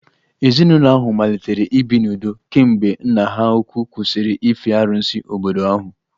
Ezinụlọ ahụ malitere ibi n'udo kemgbe nna ha ukwuu kwụsịrị ife arusi obodo ahụ